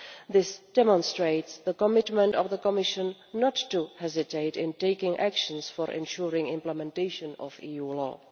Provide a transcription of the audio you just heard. This demonstrates the commitment of the Commission not to hesitate in taking actions for ensuring implementation of EU law.